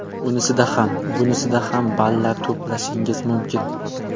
Unisida ham, bunisida ham ballar to‘plashingiz mumkin.